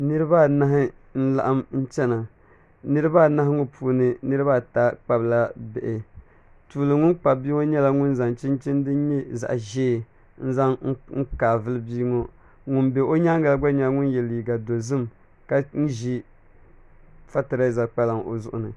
Niraba anahi n laɣam chɛna niraba anahi ŋo puuni niraba ata kpabila bihi tuuli ŋun kpabi bia ŋo nyɛla ŋun zaŋ chinchin din nyɛ zaɣ ʒiɛ n zaŋ n kaai vuli bia ŋo ŋun bɛ o nyaangi la gba nyɛla ŋun yɛ liiga dozim ka ʒi fatilɛza kpalaŋ o zuɣu ni